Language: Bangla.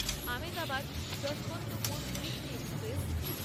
Ahmedabad-Yesvantpur weekly express